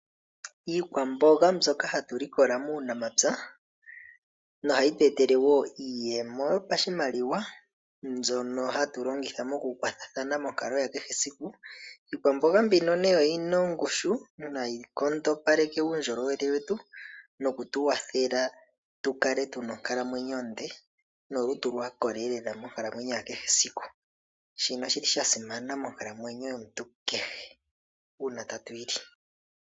Iikwamboga mbyoka hatu likola muunamapya no ohayi tu etele wo iiyemo yopashimaliwa mbyono hatu longitha mokukwathathana monkalo ya kehe esiku. Iikwamboga mbino oyina ongushu yo ohayi nkondopaleke uundjolowele wetu noku tu wathela tu kale tu na onkalamwenyo onde nolutu lwa koleelela monkalamwenyo ya kehe siku. Shino oshili sha simana monkalamweyo yomuntu kehe uuna tatu yi li.